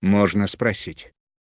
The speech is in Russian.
можно спросить